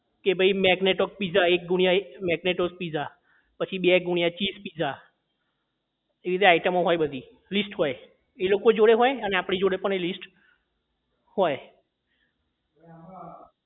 કે ભાઈ magnet of pizza એક ગુણ્યા એક મેગનેટ ઓફ pizza પછી બે ગુણ્યા cheese pizza એ રીતે item ઓ હોય બધી list હોય એ લોકો જોડે હોય અને આપડી જોડે પણ એ list હોય